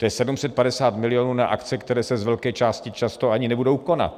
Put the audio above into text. To je 750 milionů na akce, které se z velké části často ani nebudou konat.